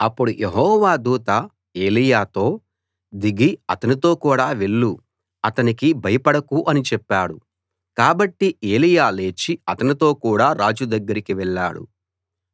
అప్పుడు యెహోవా దూత ఎలీయాతో దిగి అతనితో కూడా వెళ్ళు అతనికి భయపడకు అని చెప్పాడు కాబట్టి ఎలీయా లేచి అతనితో కూడా రాజు దగ్గరికి వెళ్ళాడు